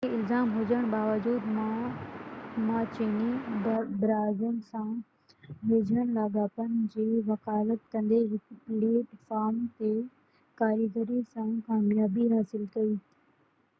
اهي الزام هجڻ باوجود ما چيني براعظم سان ويجهن لاڳاپن جي وڪالت ڪندي هڪ پليٽ فارم تي ڪاريگري سان ڪاميابي حاصل ڪئي